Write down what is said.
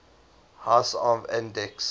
house of andechs